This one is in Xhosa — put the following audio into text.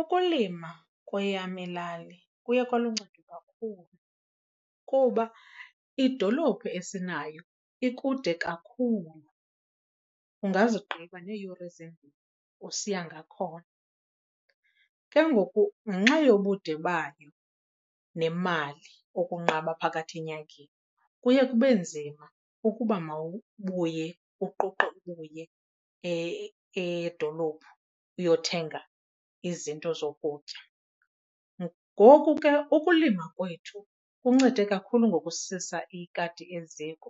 Ukulima kweyam ilali kuye kwaluncedo kakhulu kuba idolophu esinayo ikude kakhulu, ungazigqiba neeyure ezimbini usiya ngakhona. Ke ngoku ngenxa yokude bayo nemali, ukunqaba phakathi enyangeni, kuye kube nzima ukuba mawubuye uquqe uye edolophu uyothenga izinto zokutya. Ngoku ke ukulima kwethu kuncede kakhulu ngokususa ikati eziko